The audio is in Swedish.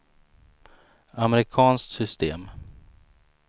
amerikanskt system